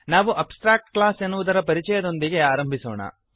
ನಾವು abstract class ಎನ್ನುವುದರ ಪರಿಚಯದೊಂದಿಗೆ ಆರಂಭಿಸೋಣ